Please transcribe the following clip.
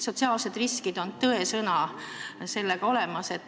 Sotsiaalsed riskid on tõesõna olemas.